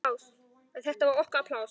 En þetta var okkar pláss.